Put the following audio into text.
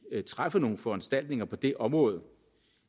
træffer nogle foranstaltninger på det område